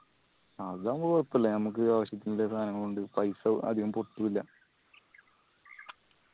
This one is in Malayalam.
അത് ആവുമ്പൊ കൊഴപ്പില്ല ഞമ്മക്ക് ആവശ്യത്തിന്റെ സാനം കൊണ്ട് paisa അധികം പൊട്ടുല്ല